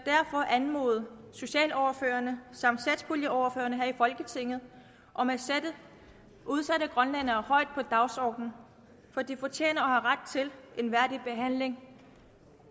anmode socialordførerne samt satspuljeordførerne her i folketinget om at sætte udsatte grønlændere højt på dagsordenen for de fortjener og har ret til en værdig behandling